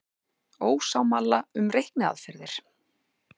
Ósammála um reikniaðferðir